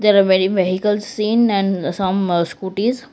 there are many vehicles seen and some scooties.